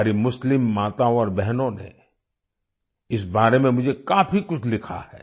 हमारी मुस्लिम माताओं और बहनों ने इस बारे में मुझे काफी कुछ लिखा है